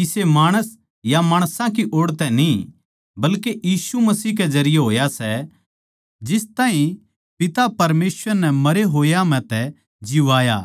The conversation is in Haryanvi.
किसे माणस या माणसां की ओड़ तै न्ही बल्के यीशु मसीह के जरिये होया सै जिस ताहीं पिता परमेसवर नै मरे होए म्ह तै जिवाया